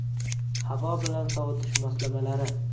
Havo bilan sovitish moslamalari.